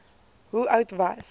hoe oud was